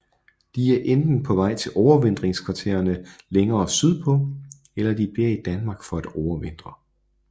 De er enten på vej til overvintringskvartererne længere sydpå eller de bliver i Danmark for at overvintre